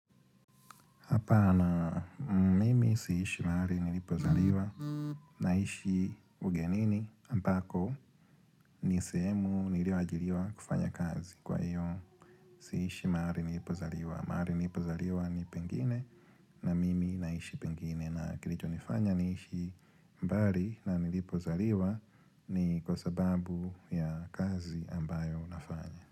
Hapana, mimi siishi mahali nilipozaliwa naishi ugenini ambako nisehemu nilio ajiliwa kufanya kazi. Kwa hiyo, siishi mahali nilipozaliwa. Mahali nilipozaliwa ni pengine na mimi naishi pengine. Na kilicho nifanya niishi mbali na nilipozaliwa ni kwa sababu ya kazi ambayo nafanya.